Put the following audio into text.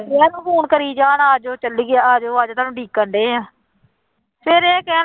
ਸਵੇਰ ਨੂੰ phone ਕਰੀ ਜਾਣਾ ਆ ਜਾਓ ਚੱਲੀਏ ਆ ਜਾਓ ਆ ਜਾਓ ਤੁਹਾਨੂੰ ਉਡੀਕਣਡੇ ਹਾਂ ਫਿਰ ਇਹ ਕਹਿਣ